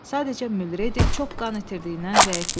Sadəcə Mülredi çox qan itirdiyindən zəifləyib.